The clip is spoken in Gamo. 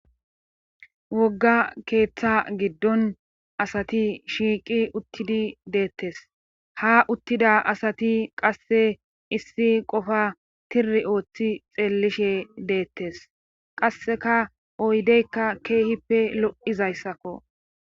Wogga keeththa giddon asati shiiqi uttidi deettes ha uttida asati qasse issi qofa tiri ooththi xeellishe deettes qasseka oydeykka keehippe lo7izayssakko